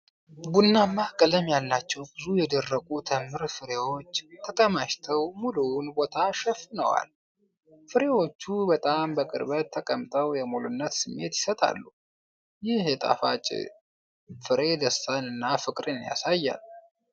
ቡናማ ቀለም ያላቸው ብዙ የደረቁ ተምር ፍሬዎች ተከማችተው ሙሉውን ቦታ ሸፍነዋል። ፍሬዎቹ በጣም በቅርበት ተቀምጠው የሙሉነት ስሜት ይሰጣሉ። ይህ ጣፋጭ ፍሬ ደስታንና ፍቅርን ያሳያል።